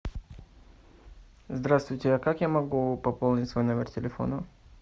здравствуйте а как я могу пополнить свой номер телефона